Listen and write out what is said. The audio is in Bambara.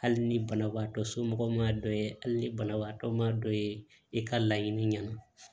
Hali ni banabagatɔ somɔgɔw m'a dɔn hali ni banabagatɔ ma dɔ ye i ka laɲini ɲɛna